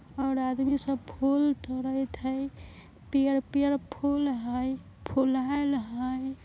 और आदमी सब फूल तुड़त हई पियर-पियर फुल हई फुलहल हई।